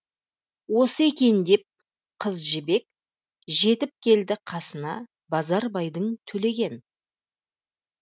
осы екен деп қыз жібек жетіп келді қасына базарбайдың төлеген